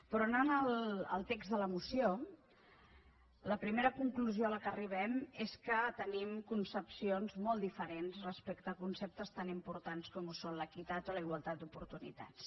però anant al text de la moció la primera conclusió a què arribem és que tenim concepcions molt diferents respecte a conceptes tan importants com són l’equitat o la igualtat d’oportunitats